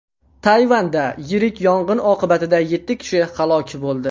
Tayvanda yirik yong‘in oqibatida yetti kishi halok bo‘ldi.